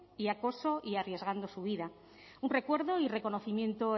y acoso y arriesgando su vida un recuerdo y reconocimiento